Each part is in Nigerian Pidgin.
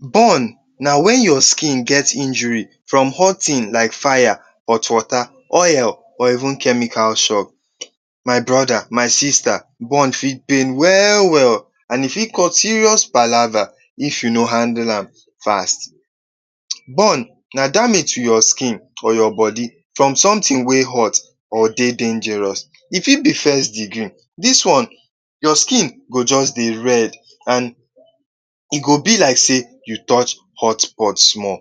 Burn na wen your skin get injury from hot tin like fire, hot water, oil, or even chemical. My brother, my sister, burn fit pain well-well an e fit cause serious palava if you no handle am fast. Burn na damage to your skin or your body from something wey hot or dey dangerous. E fit be First Degree: Dis one, your skin go juz dey red an e go be like sey you touch pot small.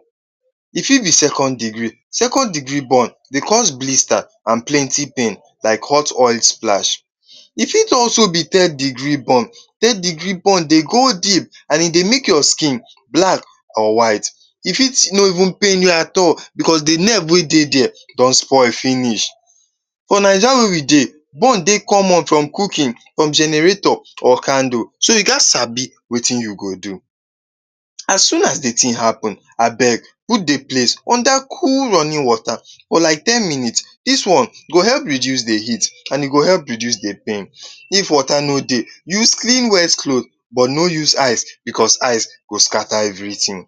E fit be Second Degree: Second degree burn dey cause blister an plenty pain, like hot oil splash. E fit also be Third Degree burn: Third degree burn dey go deep, an e dey make your skin black or white. E fit no even pain you at all becos the nerve wey there don spoil finish. For Naija wey we dey, burn dey common from cooking, from generator, or candle. So, you gaz sabi wetin you go do. As soon as the tin happen, abeg put the place under cool running water for like ten minute. Dis one go help reduce the heat an e go help reduce the pain. If water no dey, use clean wet cloth, but no use ice, becos ice go scatter everything.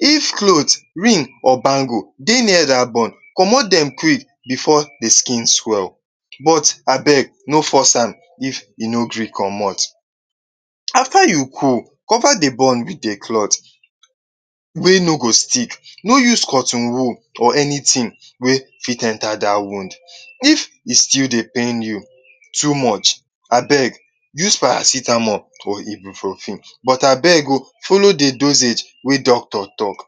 If cloth, ring, or bangle dey near dat burn, comot dem quick before the skin swell, but abeg no force am if e no gree comot. After you cool, cover the burn with a cloth wey no go stick. No use cotton wool or anything wey fit enter dat wound. If e still dey pain you too much, abeg use paracetamol or ibuprofen, but abeg oh, follow the dosage wey doctor talk.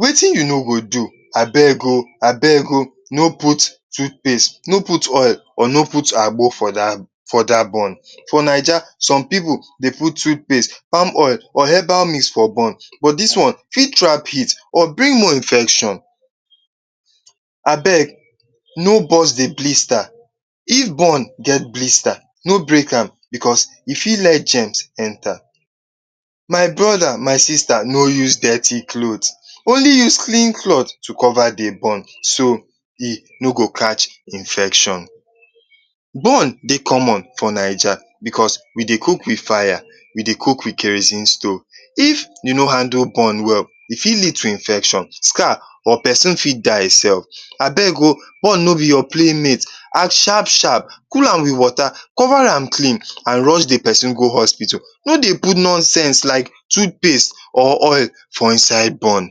Wetin you no go do. Abeg oh, abeg oh, no put toothpaste, no put oil, or no put agbo for dat for dat burn. For Naija, some pipu dey put toothpaste, palm oil or herbal mix for burn, but dis one fit trap heat or bring more infection. Abeg, no burst the blister. If burn get blister, no break am becos e fit let germs enter. My brother, my sister, no use dirty cloth. Only use clean cloth to cover the burn so e no go catch infection. Burn dey common for Naija becos we dey cook with fire, we dey cook with kerosene stove. If you no handle burn well, e fit lead to infection, scar, or peson fit die sef. Abeg oh, burn no be your playmate. Act sharp-sharp. Cool am with water, cover am clean, an rush the peson go hospital. No dey put nonsense like toothpaste or oil for inside burn.